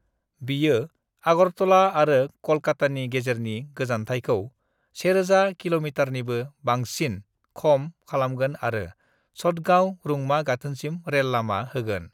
बियो अगरतला आरो कोलकातानि गेजेरनि गोजानथाइखौ 1000 किलोमीटरनिबो बांसिन खम खालामगोन आरो चटगांव रुंमा गाथोनसिम रेल लामा होगोन।